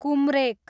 कुम्रेक